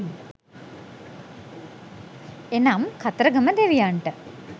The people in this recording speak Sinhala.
එනම් කතරගම දෙවියන්ට